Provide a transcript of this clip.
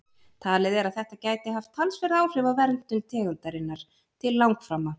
Talið er að þetta gæti haft talsverð áhrif á verndun tegundarinnar til langframa.